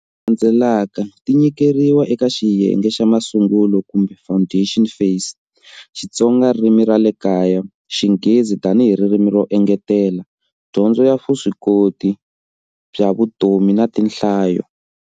Tidyondzo leti landzelaka ti nyikeriwa eka xiyenge xa masungulo kumbe"foundation phase," Xitsonga ririmi ra le kaya, xinghezi tanihi ririmi ro engetela, dyondzo ya vuswikoti bya vutomi na tinhlayo.